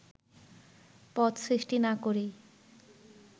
পদ সৃষ্টি না করেই